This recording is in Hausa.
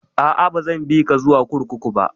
A'a, ba zan bi ka zuwa kurkuku ba